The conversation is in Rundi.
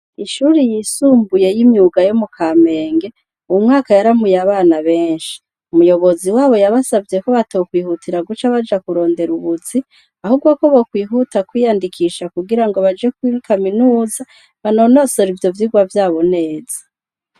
Ishure yisumbuye y'imyuga yo mu kamenge, uy'umwaka yaramuye abana benshi, umuyobozi waho yabasavye ko batokwihutira guca baja kurondera ubuzi, ahubwo ko bo kwihuta kuja kwiyandikisha kugirango baje kuri kaminuza banonosore ivyo vyirwa vyobo neza.